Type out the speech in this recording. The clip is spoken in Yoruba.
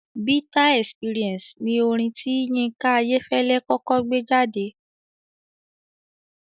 "Bitter experience" ni orin tí Yínká Ayẹ́fẹ́lẹ́ kọ́kọ́ gbé jáde